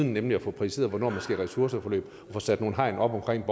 nemlig at få præciseret hvornår man skal i ressourceforløb og få sat nogle hegn op omkring